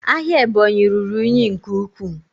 Ahịa Ebonyi ruru unyi nke ukwuu